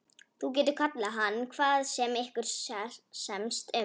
Þú getur kallað hann hvað sem ykkur semst um.